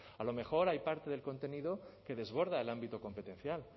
a lo mejor hay parte del contenido que desborda el ámbito competencial